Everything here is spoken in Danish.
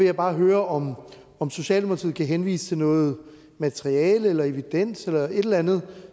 jeg bare høre om socialdemokratiet kan henvise til noget materiale eller evidens eller et eller andet